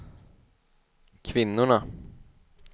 kvinnorna